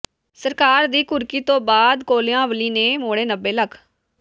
ਸਰਕਾਰ ਦੀ ਘੁਰਕੀ ਤੋਂ ਬਾਅਦ ਕੋਲਿਆਂਵਾਲੀ ਨੇ ਮੋੜੇ ਨੱਬੇ ਲੱਖ